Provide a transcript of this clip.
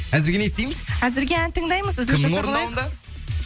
әзірге не істейміз әзірге ән тыңдаймыз кімнің орындауында